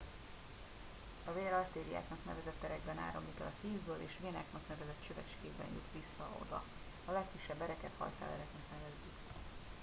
a vér artériáknak nevezett erekben áramlik el a szívből és vénáknak nevezett csövecskékben jut oda vissza a legkisebb ereket hajszálereknek nevezzük